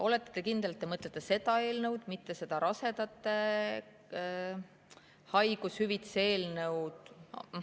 Olete te kindel, et te mõtlete seda eelnõu, mitte seda rasedate haigushüvitise eelnõu?